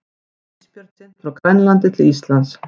Gæti ísbjörn synt frá Grænlandi til Íslands?